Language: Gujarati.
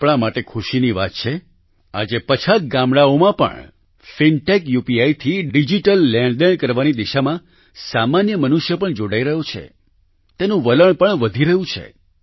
આપણા માટે ખુશીની વાત છે આજે પછાત ગામડાંઓમાં પણ ફિનટેક UPIથી ડિજીટલ લેણદેણ કરવાની દિશામાં સામાન્ય મનુષ્ય પણ જોડાઈ રહ્યો છે તેનું વલણ પણ વધી રહ્યું છે